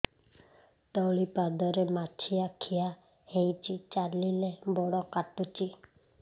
ତଳିପାଦରେ ମାଛିଆ ଖିଆ ହେଇଚି ଚାଲିଲେ ବଡ଼ କାଟୁଚି